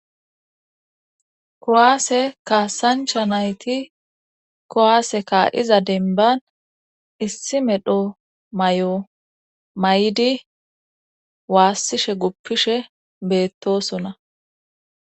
Kowaase kaasancha nayti kowaaseka iza denban issi medho may7o may7di waassishe guppishe beettosona